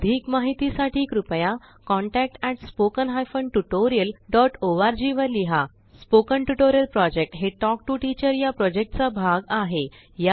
अधिक माहितीसाठी कृपया contact at spoken hyphen tutorial dot ORG वर लिहा स्पोकन ट्युटोरियल प्रॉजेक्ट हे टॉक टू टीचर या प्रॉजेक्टचा भाग आहे